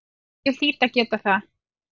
Ég hlýt að geta það.